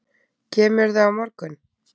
Kemurðu á morgun?